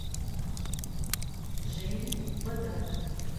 жени бадалова